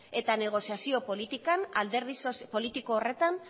eta negoziazio politiko horretan